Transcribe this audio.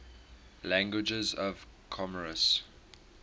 languages of comoros